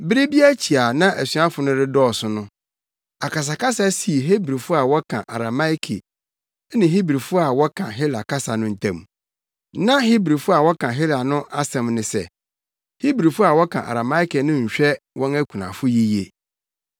Bere bi akyi a na asuafo no redɔɔso no, akasakasa sii Hebrifo a wɔka Arameike ne Hebrifo a wɔka Hela kasa no ntam. Na Hebrifo a wɔka Hela no asɛm ne sɛ, Hebrifo a wɔka Arameike no nhwɛ wɔn akunafo yiye.